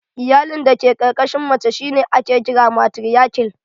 Iyalin da ke ƙarƙashin mace shi ne ake kira matiriarkial